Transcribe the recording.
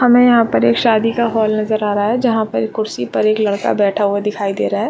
हमें यहाँ पर एक शादी का हॉल नजर आ रहा है जहाँ पर कुर्सी पर एक लड़का बैठा हुआ दिखाई दे रहा है।